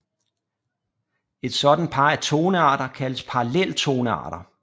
Et sådant par af tonearter kaldes paralleltonearter